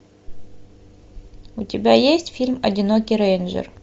у тебя есть фильм одинокий рейнджер